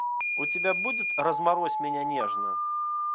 у тебя будет разморозь меня нежно